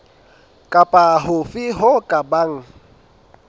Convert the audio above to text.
kapa hofe ho ka bang